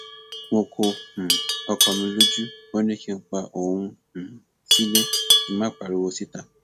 mo ko um ọkọ mi lójú ó ní kí n pa òun um sílẹ kí n má pariwo síta